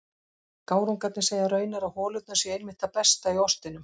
Gárungarnir segja raunar að holurnar séu einmitt það besta í ostinum.